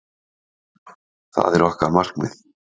Það er okkar markmið.